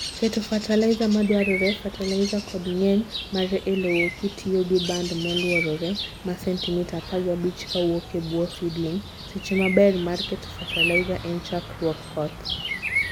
Keto fertilizer madwarore, fertilizer kod ngeny mare e lowo kitiyo gi band moluorore ma centimita apagapich kawuok e buo seedling - seche maber mar keto fertilizer en chakruog koth.